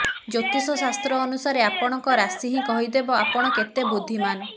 ଜ୍ୟୋତିଷ ଶାସ୍ତ୍ର ଅନୁସାରେ ଆପଣଙ୍କ ରାଶି ହିଁ କହିଦେବ ଆପଣ କେତେ ବୁଦ୍ଧିମାନ